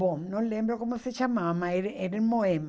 Bom, não lembro como se chamava, mas era era em Moema.